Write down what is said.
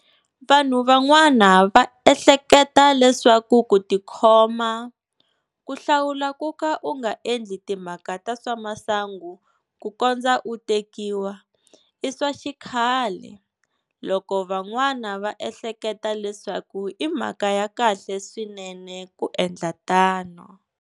Vanhu van'wana va ehleketa leswaku ku ti khoma, ku hlawula kuka u nga endli timhaka ta swa masangu ku kondza u tekiwa, i swa xikhale, loko van'wana va ehleketa leswaku i mhaka ya kahle swinene ku endla tano.